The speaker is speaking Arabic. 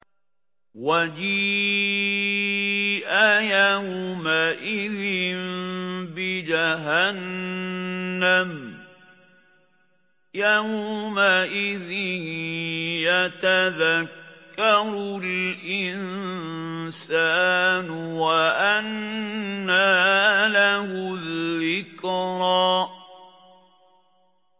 وَجِيءَ يَوْمَئِذٍ بِجَهَنَّمَ ۚ يَوْمَئِذٍ يَتَذَكَّرُ الْإِنسَانُ وَأَنَّىٰ لَهُ الذِّكْرَىٰ